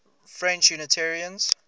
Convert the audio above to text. french unitarians